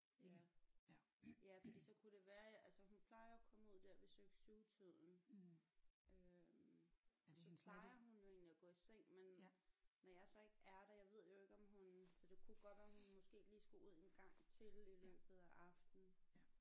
Ja ja fordi så kunne det være altså hun plejer jo at komme ud der ved 6 7 tiden øh så plejer hun jo egentlig at gå i seng men når jeg så ikke er der jeg ved jo ikke om hun altså det kunne jo godt være hun måske lige skulle ud en gang til i løbet af aftenen